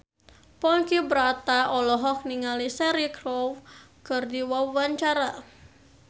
Ponky Brata olohok ningali Cheryl Crow keur diwawancara